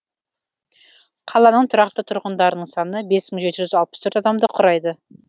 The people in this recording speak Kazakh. қаланың тұрақты тұрғындарының саны бес мың алты жүз жетпіс төрт адамды құрайды